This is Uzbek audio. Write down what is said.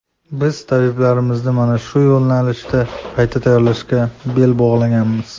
Biz tabiblarimizni mana shu yo‘nalishda qayta tayyorlashga bel bog‘laganmiz”.